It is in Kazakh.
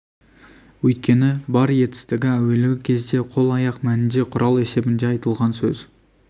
өйткені бар етістігі әуелгі кезде қол аяқ мәнінде құрал есебінде айтылған сөз